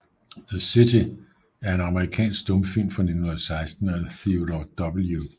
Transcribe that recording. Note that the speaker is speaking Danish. The City er en amerikansk stumfilm fra 1916 af Theodore W